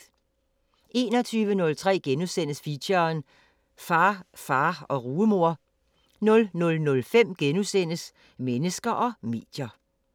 21:03: Feature: Far, far og rugemor * 00:05: Mennesker og medier *